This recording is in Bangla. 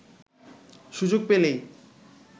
সুযোগ পেলেই